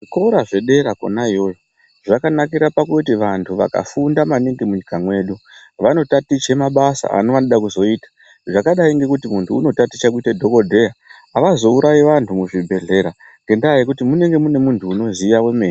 Zvikora zvedera kona iyoyo zvakanakira pakuti vanhu vakafunda maningi munyika mwedu vanotaticha mabasa aonodekuzoita zvakadai ngekuti munhu unotaticha kuite dhokodheya avazourayi vanhu muzvibhehleya ngenda yekuti munonga mune munhu unoziya zvemene.